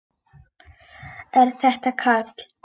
Er þetta Karl?